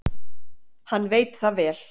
Hann veit það vel.